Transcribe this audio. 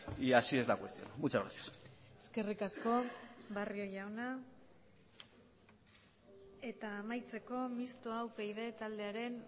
y así es la cuestión muchas gracias eskerrik asko barrio jauna eta amaitzeko mistoa upyd taldearen